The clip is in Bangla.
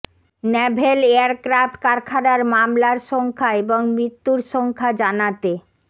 ন্যাভেল এয়ারক্রাফট কারখানার মামলার সংখ্যা এবং মৃত্যুর সংখ্যা জানাতে